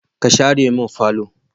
Ka share mun falo!